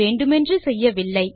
வேண்டுமென்று செய்யவில்லை